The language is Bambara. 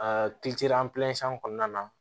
kɔnɔna na